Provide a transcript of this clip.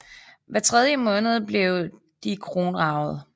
Hver tredje måned blev de kronraget